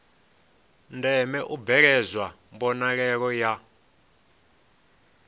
ndeme u bveledzwa mbonalelo ya